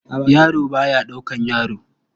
Yaro ba ya ɗaukar yaro.